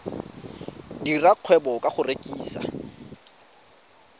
dira kgwebo ka go rekisa